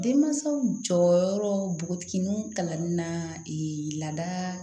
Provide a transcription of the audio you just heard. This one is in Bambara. Denmansaw jɔyɔrɔ nogotigininw kalanni na laada